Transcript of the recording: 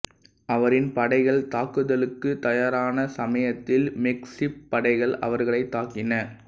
அவரின் படைகள் தாக்குதலுக்குத் தயாரான சமயத்தில் மெக்சிக்கப் படைகள் அவர்களைத் தாக்கின